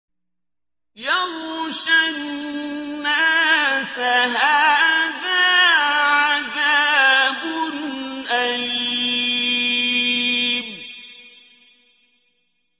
يَغْشَى النَّاسَ ۖ هَٰذَا عَذَابٌ أَلِيمٌ